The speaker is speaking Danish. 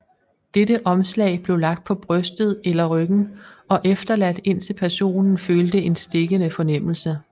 Dette omslag blev lagt på brystet eller ryggen og efterladt indtil personen følte en stikkende fornemmelse